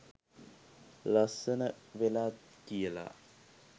ලස්සන වෙලා කියලා.